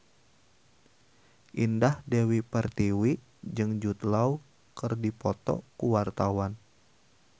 Indah Dewi Pertiwi jeung Jude Law keur dipoto ku wartawan